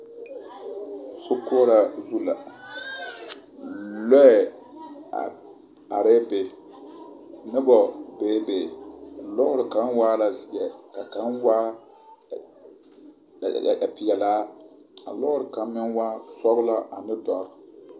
Sokoɔraa zu la, lɔɛ a arɛɛ be nobɔ beebe lɔɔre kaŋ waa la zeɛ ka kaŋ waa peɛlaa a lɔɔre kaŋ meŋ waa sɔgelaa ane dɔre.